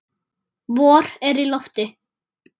Vor er í lofti.